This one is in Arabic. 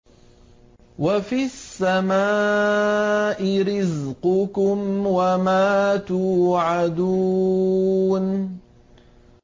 وَفِي السَّمَاءِ رِزْقُكُمْ وَمَا تُوعَدُونَ